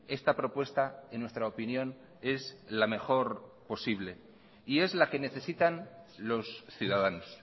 esta propuesta en nuestra opinión es la mejor posible y es la que necesitan los ciudadanos